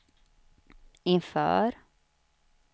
inför